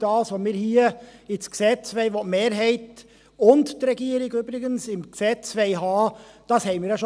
Was wir hier ins Gesetz aufnehmen wollen, die Mehrheit und die Regierung übrigens, haben wir jetzt schon.